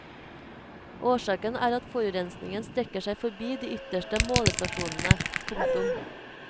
Årsaken er at forurensningen strekker seg forbi de ytterste målestasjonene. punktum